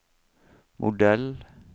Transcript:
modell